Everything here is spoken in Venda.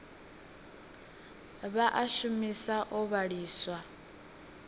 vha a shumisa o vhiliswa